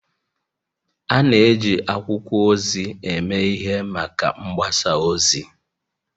A na-eji akwụkwọ ozi eme ihe maka mgbasa ozi